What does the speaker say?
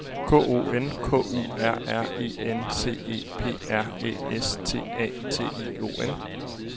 K O N K U R R E N C E P R Æ S T A T I O N